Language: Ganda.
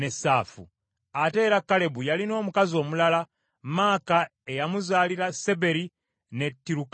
Ate era Kalebu yalina omukazi omulala, Maaka eyamuzaalira Seberi ne Tirukaana.